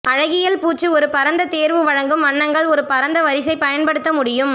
அழகியல் பூச்சு ஒரு பரந்த தேர்வு வழங்கும் வண்ணங்கள் ஒரு பரந்த வரிசை பயன்படுத்த முடியும்